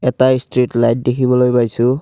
এটা street light দেখিবলৈ পাইছোঁ।